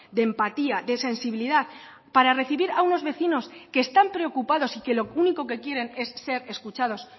de empatía de sensibilidad para recibir a unos vecinos que están preocupados y que lo único que quieren es ser escuchados